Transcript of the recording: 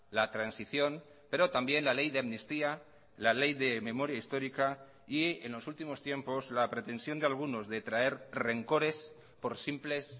la transición pero también la ley de amnistía la ley de memoria histórica y en los últimos tiempos la pretensión de algunos de traer rencores por simples